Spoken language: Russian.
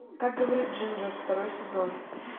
как говорит джинджер второй сезон